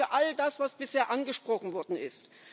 Das gilt für all das, was bisher angesprochen worden ist.